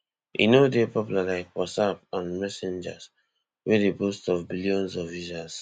e no dey popular like whatsapp and messenger wey dey boast of billions of users